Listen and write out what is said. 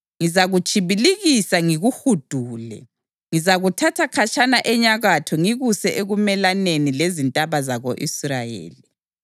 Ngizakutshibilikisa ngikuhudule. Ngizakuthatha khatshana enyakatho ngikuse ekumelaneni lezintaba zako-Israyeli.